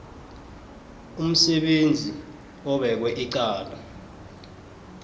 umsebenzi obekwe icala